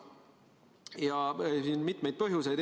Ja siin on mitmeid põhjuseid.